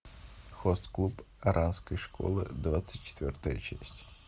хост клуб оранской школы двадцать четвертая часть